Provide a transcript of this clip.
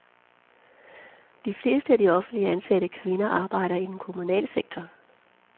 De fleste af de offentligt ansatte kvinder arbejder i den kommunale sektor.